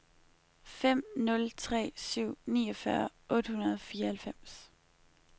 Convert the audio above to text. fem nul tre syv niogfyrre otte hundrede og fireoghalvfems